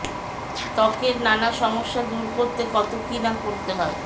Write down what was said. ত্বকের নানা সমস্যা দূর করতে কত কী না করতে হয়